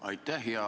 Aitäh!